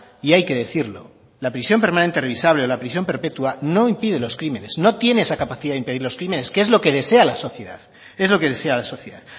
y hay que decirlo la prisión permanente revisable o la prisión perpetua no impide los crímenes no tiene esa capacidad de impedir los crímenes que es lo que desea la sociedad